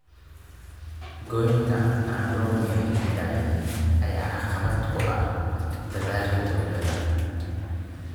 Goynta aan loo meel dayin ayaa caqabad ku ah dadaalka dowladda.